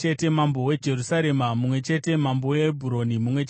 mambo weJerusarema mumwe chete mambo weHebhuroni mumwe chete